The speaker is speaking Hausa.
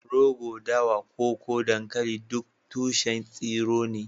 rogo, dawa, koko, dankali duk tushen tsiro ne